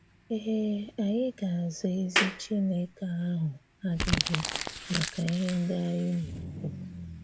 Ee, ànyị̀ ga-aza ezi Chineke ahụ̀ ajụjụ maka ihè ndị̀ ànyị̀ na-ekwu.